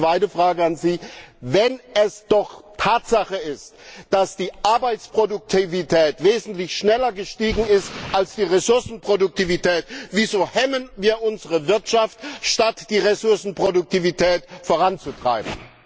Meine zweite Frage an Sie Wenn es doch Tatsache ist, dass die Arbeitsproduktivität wesentlich schneller gestiegen ist als die Ressourcenproduktivität, wieso hemmen wir unsere Wirtschaft, statt die Ressourcenproduktivität voranzutreiben?